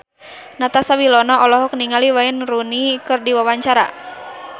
Natasha Wilona olohok ningali Wayne Rooney keur diwawancara